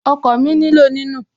Okọ̀ mi nílò ní nù